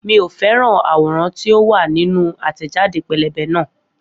Miò fẹ́ràn àwòrán tí ó wà nínú àtẹ̀jáde pẹ́lẹ́bẹ́ náà